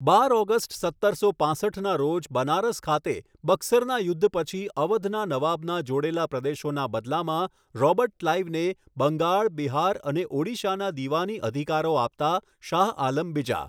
બાર August, સત્તરસો પાંસઠના રોજ બનારસ ખાતે બક્સરના યુદ્ધ પછી અવધના નવાબના જોડેલા પ્રદેશોના બદલામાં રોબર્ટ ક્લાઇવને 'બંગાળ, બિહાર અને ઓડિશાના દિવાની અધિકારો' આપતા શાહ આલમ બીજા.